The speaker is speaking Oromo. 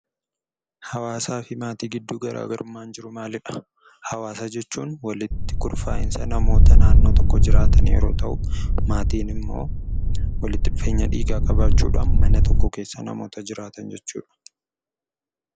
Hawwaasaa fi maatii gidduu garaagarummaan jiru maalii dha? Hawwaasa jechuun walitti gurmaa'iinsa namoota naannoo tokko jiraatan yeroo ta'u; maatiin immoo walitti dhufeenya dhiigaa qabaachuudhaan manatti mana tokko keessa namoota jiraatan jechuudha.